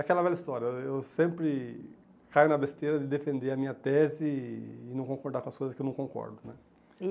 Aquela velha história, eu sempre caio na besteira de defender a minha tese e e não concordar com as coisas que eu não concordo né.